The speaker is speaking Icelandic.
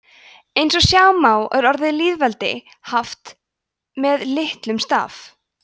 eins og sjá má er orðið lýðveldi haft með litlum staf